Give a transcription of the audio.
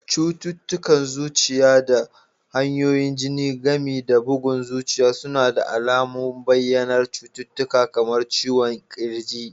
Cututtukan zuciya da jijiyoyin jini, gami da bugun zuciya suna da alamun bayyanar cututtuka kamar ciwon ƙirji